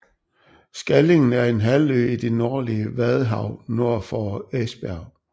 Skallingen er en halvø i det nordlige Vadehav nord for Esbjerg